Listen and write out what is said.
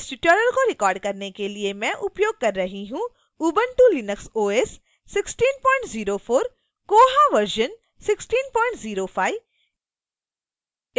इस tutorial को record करने के लिए मैं उपयोग कर रही हूँ